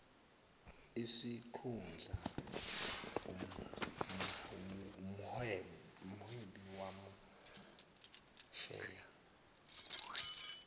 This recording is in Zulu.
isikhundla umhwebi masheya